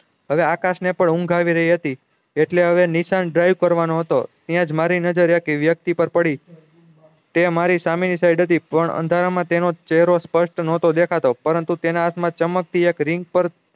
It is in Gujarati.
હવે આકાશ ને પણ ઊંઘ આવી રહી હતી એટલે હવે નિશાંત drive ત્યાજ મારી નજર એક વ્યક્તિ પર પડી તે મારી સામે ની side હતી પણ અંધારા માં તેનો ચેહરો સ્પસ્ટ દેખાતો ન હતો પરંતુ તેના હાથ મા ચમકતી એક રીંગ પર